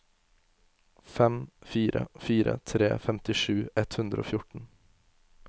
fem fire fire tre femtisju ett hundre og fjorten